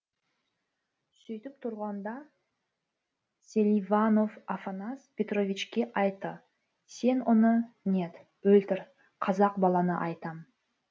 сөйтіп тұрғанда селиванов афанас петровичке айтты сен оны нет өлтір қазақ баланы айтам